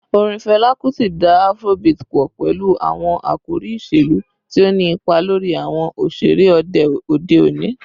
Orin Fẹla Kuti da Afrobeat pọ pẹlu awọn akori iṣelu, ti o ni ipa lori awọn oṣere ode oni.